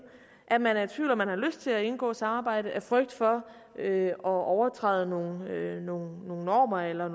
at man er i tvivl om hvorvidt man har lyst til at indgå samarbejde af frygt for at overtræde nogle nogle normer eller